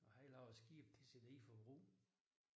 Og han laver skib de sætter i forbrug